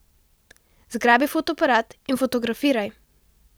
Zgrabi fotoaparat in fotografiraj ...